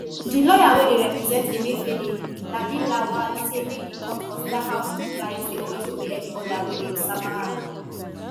di lawyer wey dey represent emefiele labilawal say make di court consider how im client dey always obey any order wey dem sama am